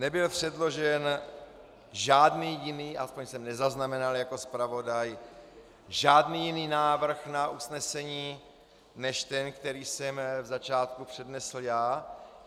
Nebyl předložen žádný jiný, aspoň jsem nezaznamenal jako zpravodaj, žádný jiný návrh na usnesení než ten, který jsem v začátku přednesl já.